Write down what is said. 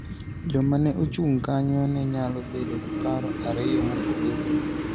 Joma ne ochung' kanyo ne nyalo bedo gi paro ariyo mopogore.